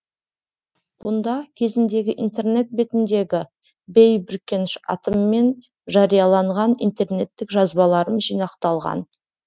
бұнда кезіндегі интернет бетіндегі бей бүркеніш атыммен жарияланған интернеттік жазбаларым жинақталған